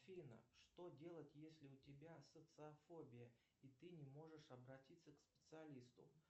афина что делать если у тебя социофобия и ты не можешь обратиться к специалисту